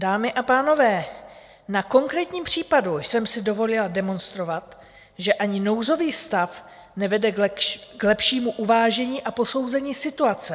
Dámy a pánové, na konkrétním případu jsem si dovolila demonstrovat, že ani nouzový stav nevede k lepšímu uvážení a posouzení situace.